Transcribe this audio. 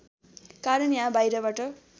कारण या बाहिरबाट